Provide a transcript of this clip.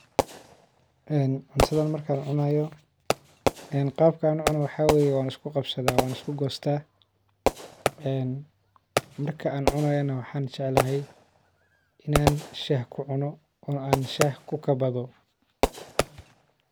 cuntadan maka cunayo qabka ucuno waxa waye wan iskuqabsada een marka an cunayo waxa jeclahay in an Shaan kukabado.